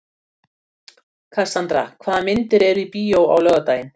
Kassandra, hvaða myndir eru í bíó á laugardaginn?